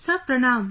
Sir Pranam